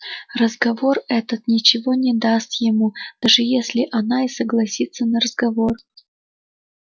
разговор этот ничего не даст ему даже если она и согласится на разговор